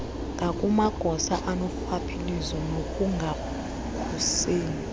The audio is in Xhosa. ngakumagosa anorhwaphilizo nokungakhuseli